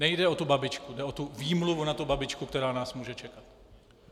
Nejde o tu babičku, jde o tu výmluvu na tu babičku, která nás může čekat.